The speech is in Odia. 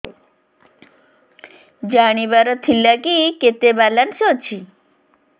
ଜାଣିବାର ଥିଲା କି କେତେ ବାଲାନ୍ସ ଅଛି